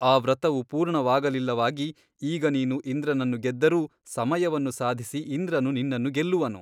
ಆ ವ್ರತವು ಪೂರ್ಣವಾಗಲಿಲ್ಲವಾಗಿ ಈಗ ನೀನು ಇಂದ್ರನನ್ನು ಗೆದ್ದರೂ ಸಮಯವನ್ನು ಸಾಧಿಸಿ ಇಂದ್ರನು ನಿನ್ನನ್ನು ಗೆಲ್ಲುವನು.